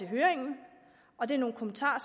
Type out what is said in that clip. høringen og det er nogle kommentarer